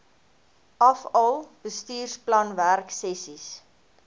afal bestuursplan werksessies